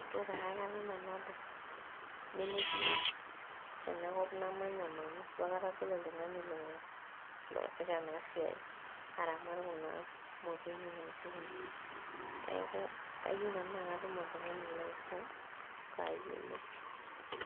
itu pae akata nanu adol nemetii ena kop namanya nanu itu akata adol oltung'ani loo loasita ena siai aramat kuna motonyi naijo kuna neeku ayieu nanu naa katum oltung'ani laisum payiolou.